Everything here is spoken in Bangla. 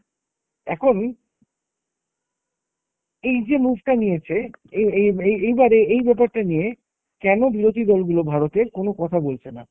এখন এই যে move টা নিয়েছে, এই এই এই এইবারে এই ব্যাপারটা নিয়ে কেন বিরোধী দলগুলো ভারতের কোনো কথা বলছে না?